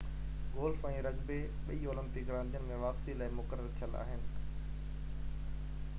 golf ۽ rugby ٻئي Olympic راندين ۾ واپسي لاءِ مقرر ٿيل آهن